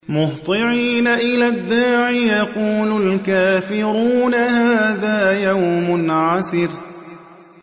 مُّهْطِعِينَ إِلَى الدَّاعِ ۖ يَقُولُ الْكَافِرُونَ هَٰذَا يَوْمٌ عَسِرٌ